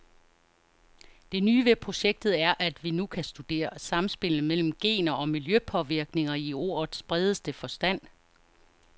Det nye ved projektet er, at vi nu kan studere samspillet mellem gener og miljøpåvirkninger i ordets bredeste forstand.